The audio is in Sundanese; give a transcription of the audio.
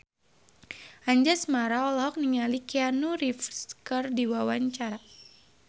Anjasmara olohok ningali Keanu Reeves keur diwawancara